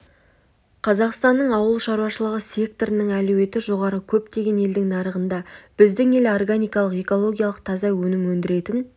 қазақстанның ауыл шаруашылығы секторының әлеуеті жоғары көптеген елдің нарығында біздің ел органикалық экологиялық таза өнім өндіретін